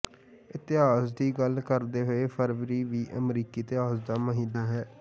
ਇਤਿਹਾਸ ਦੀ ਗੱਲ ਕਰਦੇ ਹੋਏ ਫਰਵਰੀ ਵੀ ਅਮਰੀਕੀ ਇਤਿਹਾਸ ਦਾ ਮਹੀਨਾ ਹੈ